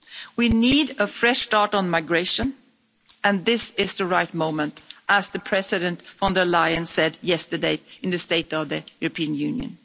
We need a fresh start on migration and this is the right moment, as President von der Leyen said yesterday in the State of the European Union.